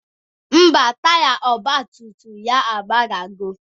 Ḿbà, taya ọgbatumtum ya agbadago.